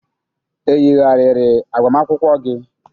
e yigharịrị agbamakwụkwọ gị?